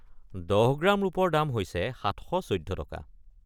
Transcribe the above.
১০ gram ৰূপৰ দাম হৈছে ৭১৪ টকা।